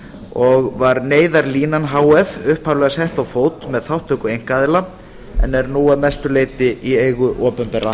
og var neyðarlínan h f upphaflega sett á fót með þátttöku einkaaðila en er nú að mestu leyti í eigu opinberra